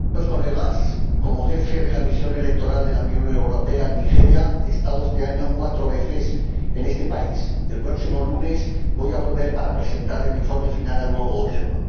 Señora Presidenta, queridos colegas, como jefe de la misión electoral de la Unión Europea en Nigeria, he estado este año cuatro veces en este país, y el próximo lunes voy a volver para presentar el informe final al nuevo Gobierno.